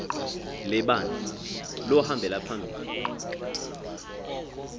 lebandla lohambela phambili